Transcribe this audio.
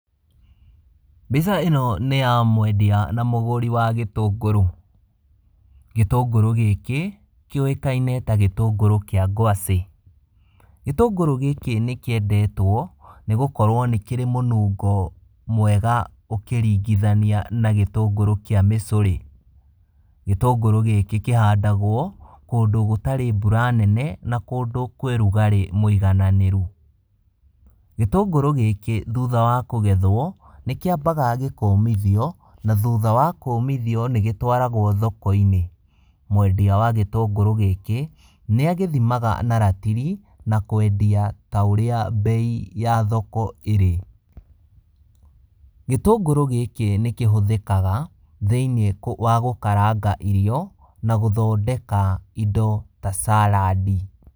Mbica ĩno nĩ ya mwendia na mũgũri wa gĩtũngũrũ, gĩtũngũrũ gĩkĩ kĩũwĩkaine ta gĩtũngũrũ kĩa kwacĩ, gĩtũngũrũ gĩkĩ nĩ kĩendetwo, nĩ gũkorwo nĩ kĩrĩ mũnungo kwega ũkĩringithania na gĩtũngũrũ kĩa mĩcũrĩ, gĩtũngũrũ gĩkĩ kĩhandagwo kũndũ gũtarĩ mbura nene, na kũndũ kwĩ rugarĩ mwĩigananĩrũ, gĩtũngũrũ gĩkĩ thutha wa kũgethwo, nĩ kĩambaga gĩkomithio, na thutha wa kũmithio, nĩ gĩtwaragwo thoko - inĩ, mwendia wa gĩtũngũrũ gĩkĩ nĩ agĩthimaga na ratiri, na kwendia ta ũrĩa mbei ya thoko irĩ, gĩtũngũrũ gĩkĩ nĩ kĩhũthĩkaga thĩniĩ wa gũkaranga irio, na gũthondeka indo ta caradi.